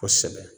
Kosɛbɛ